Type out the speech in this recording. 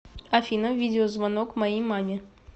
афина видео звонок моей маме